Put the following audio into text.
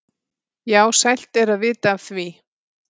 þá sælt er að vita af því.